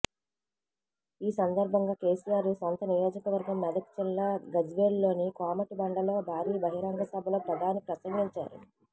ఈ సందర్భంగా కేసీఆర్ సొంత నియోజకవర్గం మెదక్ జిల్లా గజ్వేల్లోని కోమటి బండలో భారీ బహిరంగ సభలో ప్రధాని ప్రసంగించారు